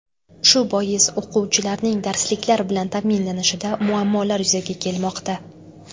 Shu bois o‘quvchilarning darsliklar bilan ta’minlanishida muammolar yuzaga kelmoqda.